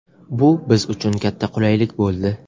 Bu biz uchun katta qulaylik bo‘ldi.